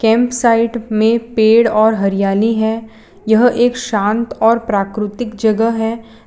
M site में पेड़ और हरियाली है यह एक शांत और प्राकृतिक जगह है।